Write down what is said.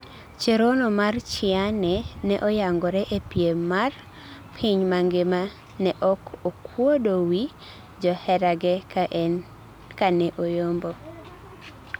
Cherono mar chiyane ne oyangore ee piem mar piny mangima ne ok okuodo wii joherage ka ne oyombo